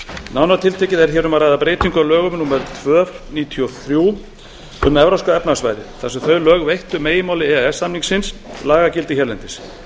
nánar tiltekið er hér um að ræða breytingu á lögum númer tvö nítján hundruð níutíu og þrjú um evrópska efnahagssvæðið þar sem þau lög veittu meginmáli e e s samningsins lagagildi hérlendis